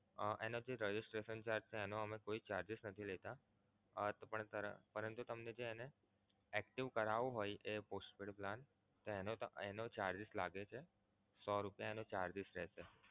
એનો જે Registration charge છે એનો અમે કોઈ charges નથી લેતા તો પણ પરંતુ તમે જે એને active કરાવવું હોય એ postpaid plan એનો તો charges લાગે છે સો રૂપિયા એનો charges રેહશે.